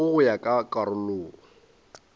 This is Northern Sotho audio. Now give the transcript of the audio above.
filwego go ya ka karolo